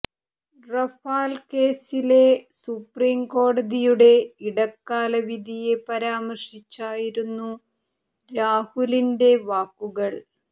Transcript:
Rafale കേസിലെ supreme കോടതിയുടെ ഇടക്കാല വിധിയെ പരാമർശിച്ചായിരുന്നു രാഹുലിന്റെ വാക്കുകൾ